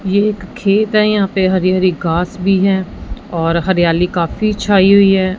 ये एक खेत है यहां पे हरी हरी घास भी है और हरियाली काफी छाई हुई है।